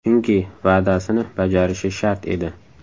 Chunki va’dasini bajarishi shart edi.